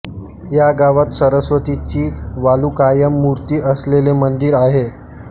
या गावात सरस्वतीची वालुकामय मूर्ती असलेले मंदिर आहे